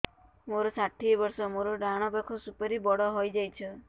ମୋର ଷାଠିଏ ବର୍ଷ ମୋର ଡାହାଣ ପାଖ ସୁପାରୀ ବଡ ହୈ ଯାଇଛ